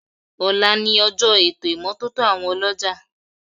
Ọ̀la ni ọjọ́ ètò ìmọ́tótó àwọn ọlọ́jà